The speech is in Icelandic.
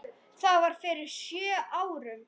Það var fyrir sjö árum.